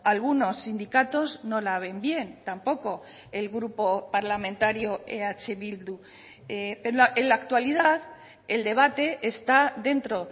algunos sindicatos no la ven bien tampoco el grupo parlamentario eh bildu en la actualidad el debate está dentro